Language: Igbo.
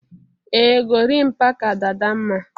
Ee Gorimpa ka Dada mma